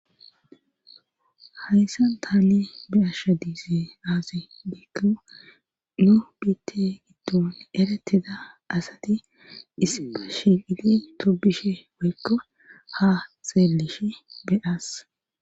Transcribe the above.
hayssan taani be'ashsha diize aase beykka nobite giddon ereteda asati isipa shiili tobishe woykka ha xeelish beyas